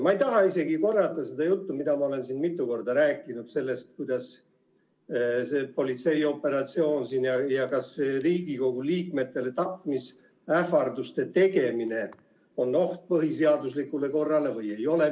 Ma ei taha isegi korrata seda juttu, mida ma olen siin mitu korda rääkinud sellest, kuidas see politseioperatsioon siin ja kas Riigikogu liikmetele tapmisähvarduste tegemine on oht põhiseaduslikule korrale või ei ole.